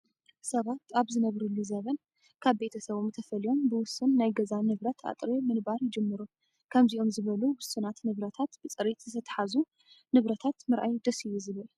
ሰባት ኣብ ዝነብርሉ ዘበን ካብ ቤተሰቦም ተፈልዩም ብውሱን ናይ ገዛ ንብረት ኣጥርዩ ምንባር ይጅምሩ። ከምዚኦም ዝበሉ ውሱናት ንብረታት ብፅሬት ዝተትሓዙ ንብረታት ምርኣይ ደስ እዩ ዝብል።